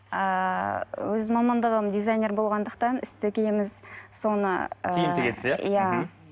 ыыы өз мамандығым дизайнер болғандықтан іс тігеміз соны ыыы киім тігесіз иә мхм